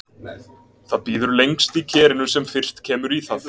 Það býður lengst í kerinu sem fyrst kemur í það.